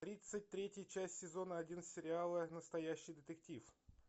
тридцать третья часть сезона один сериала настоящий детектив